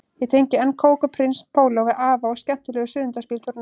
Ég tengi enn kók og prins póló við afa og skemmtilegu sunnudagsbíltúrana